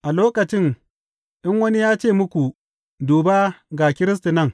A lokacin in wani ya ce muku, Duba, ga Kiristi nan!’